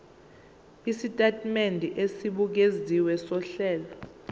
isitatimende esibukeziwe sohlelo